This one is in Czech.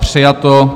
Přijato.